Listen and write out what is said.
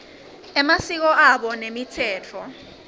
emasiko abo nemitsetfo